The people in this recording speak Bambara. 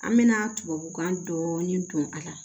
An mɛna tubabukan dɔɔnin don a la